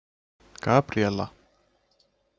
Gabríela